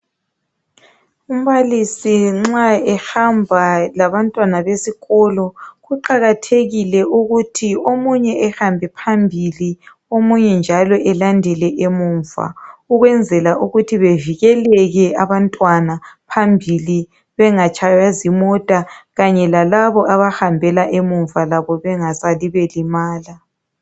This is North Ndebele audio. Umbalisi nxa ehamba labantwana besikolo kuqakathekile ukuthi omunye ehambe phambili omunye njalo elandele emuva ukwenzela ukuthi bevikeleke abantwana phambi bengatshaywa zimota kanye lalabo abahambela emuva bengasali belimala.